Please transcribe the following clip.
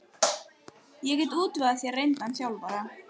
Ég get útvegað þér reyndan þjálfara.